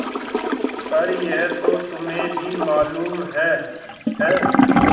पर यह तो तुम्हें भी मालूम है है न